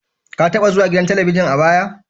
Ka taba zuwa gidan Talabijin a baya?